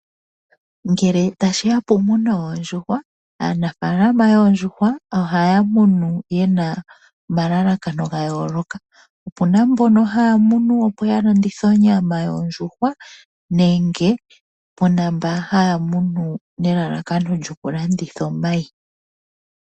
Ngele tashi ya pokumuna oondjuhwa, aanafalama yoondjuhwa ohaya munu ye na omalalakano ga yoolokathana. Ope na yamwe haya munu opo ya landithe onyama yondjuhwa nenge pu na mboka haya munu nelalakano lyokulanditha omayi.